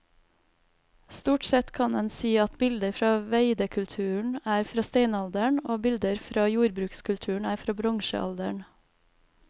Stort sett kan en si at bilder fra veidekulturen er fra steinalderen og bilder fra jordbrukskulturen er fra bronsealderen.